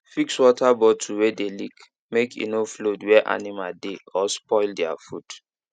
fix water bottle wey dey leak make e no flood where animal dey or spoil their food